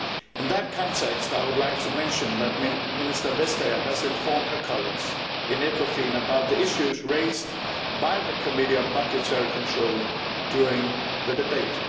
In that context I would like to mention that Minister Vestager has informed her colleagues in Ecofin about the issues raised by the Committee on Budgetary Control during the debate.